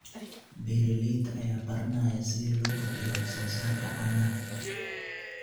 Beeralayda ayaa baranaya sida loo kordhiyo wax soo saarka caanaha.